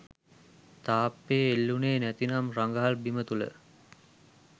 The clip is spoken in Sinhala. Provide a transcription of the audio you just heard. තාප්පයේ එල්ලුණේ නැතිනම් රඟහල් බිම තුළ